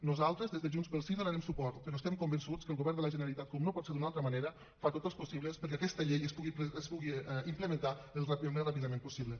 nosaltres des de junts pel sí hi donarem suport però estem convençuts que el govern de la generalitat com no pot ser d’una altra manera fa tot els possibles perquè aquesta llei es pugui implementar al més ràpidament possible